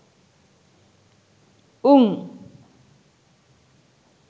උං